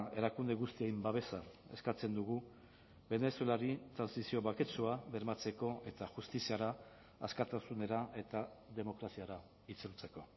erakunde guztien babesa eskatzen dugu venezuelari trantsizio baketsua bermatzeko eta justiziara askatasunera eta demokraziara itzultzeko